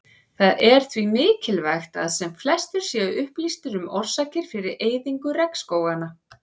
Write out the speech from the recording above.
Það er því mikilvægt að sem flestir séu upplýstir um orsakir fyrir eyðingu regnskóganna.